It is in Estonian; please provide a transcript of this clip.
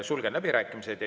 Sulgen läbirääkimised.